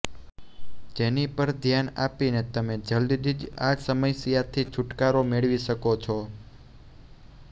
જેની પર ધ્યાન આપીને તમે જલદી જ આ સમસ્યાથી છૂટકારો મેળવી શકો છો